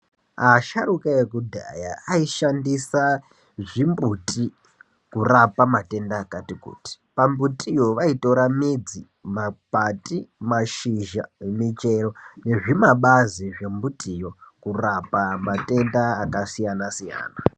Asharuka ekudhaya aishandisa zvimbuti, kurapa matenda akati kuti. Pambutiyo vaitora midzi, makwati, mashizha, michero nezvimabazi zvembutiyo kurapa matenda akasiyana-siyana .